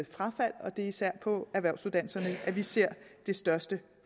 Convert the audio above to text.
frafald og det er især på erhvervsuddannelserne at vi ser det største